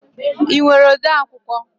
Ị nwere ode akwụkwọ?